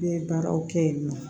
N ye baaraw kɛ yen nɔ